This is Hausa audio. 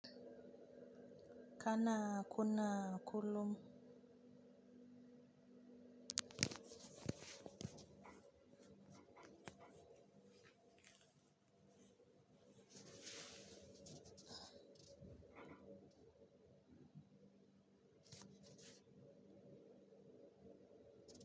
Kana kunna kullum.